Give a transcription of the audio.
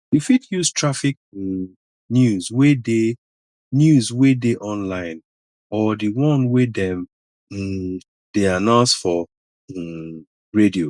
you fit use traffic um news wey dey news wey dey online or di one wey dem um dey announce for um radio